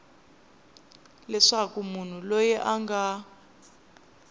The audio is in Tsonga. leswaku munhu loyi a nga